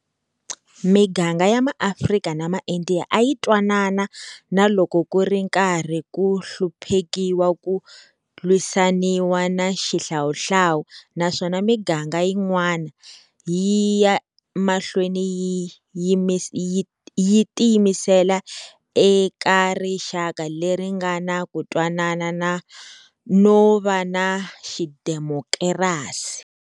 Miganga ya maAfrika na maIndiya a yi twanana na loko ku ri karhi ku hluphekiwa ku lwisaniwa na xihlawuhlawu, naswona miganga yin'wana, yi ya mahlweni yi tiyimisela eka rixaka leri nga na ku twanana no va na xidemokirasi.